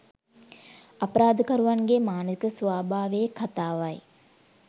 අපරාධකරුවන්ගේ මානසික ස්වභාවයේ කතාවයි